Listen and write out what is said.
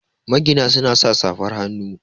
magina suna sa safar hannu